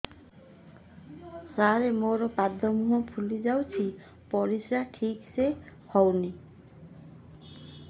ସାର ମୋରୋ ପାଦ ମୁହଁ ଫୁଲିଯାଉଛି ପରିଶ୍ରା ଠିକ ସେ ହଉନି